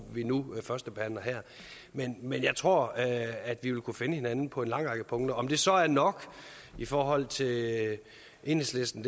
vi nu førstebehandler her men men jeg tror at vi vil kunne finde hinanden på en lang række punkter om det så er nok i forhold til enhedslisten